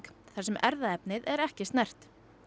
þar sem erfðaefnið er ekki snert